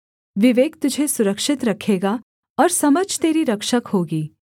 विवेक तुझे सुरक्षित रखेगा और समझ तेरी रक्षक होगी